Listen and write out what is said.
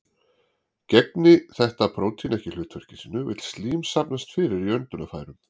Gegni þetta prótín ekki hlutverki sínu vill slím safnast fyrir í öndunarfærum.